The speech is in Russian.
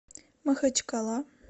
махачкала